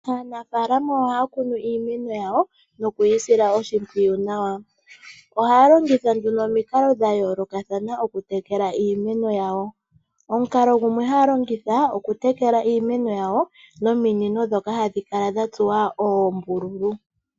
Aanafaalama ohaya kunu iimeno yawo nokuyi sila oshimpwiyu nawa, ohaya longitha nduno omikalo dha yoolokathana okutekela iimeno yawo. Omukalo gumwe haalongitha okutekela iimeno yawo nominino dhoka hadhi kala dha tsuwa oombululu.